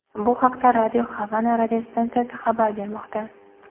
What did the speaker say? Bu haqda Radio Havana radiostansiyasi xabar bermoqda .